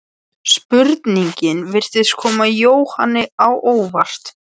Jónssyni, og atvikum síðustu mánaða á þessum blöðum.